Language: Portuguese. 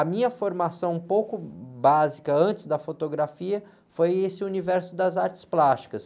A minha formação um pouco básica, antes da fotografia, foi esse universo das artes plásticas.